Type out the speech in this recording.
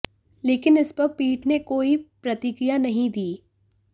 लेकिन इस पर पीठ ने कोई प्रतिक्रिया नहीं दी